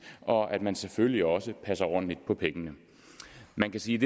og at man selvfølgelig også passer ordentligt på pengene man kan sige